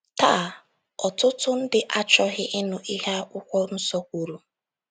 Taa, ọtụtụ ndị achọghị ịnụ ihe akwụkwọ nsọ kwuru.